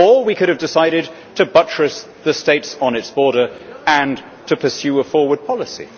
or we could have decided to buttress the states on its border and to pursue a forward policy.